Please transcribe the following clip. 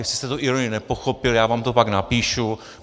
Jestli jste tu ironii nepochopil, já vám to pak napíšu.